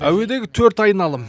әуедегі төрт айналым